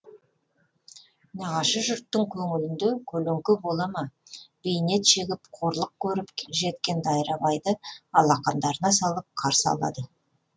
нағашы жұрттың көңілінде көлеңке бола ма бейнет шегіп қорлық көріп жеткен дайрабайды алақандарына салып қарсы алады